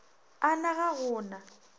a na ga go na